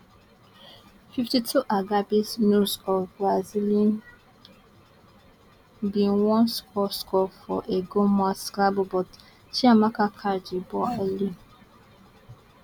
fifty two agabi nunes of brazilian bin wan score score from a goal mouth scramble but chiamaka catch di ball early